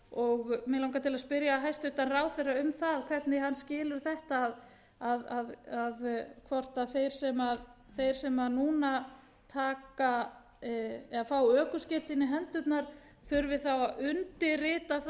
og mig langar til að spyrja hæstvirtan ráðherra um það hvernig hann skilur þetta hvort þeir sem núna fá ökuskírteini í hendurnar þurfi þá að undirrita það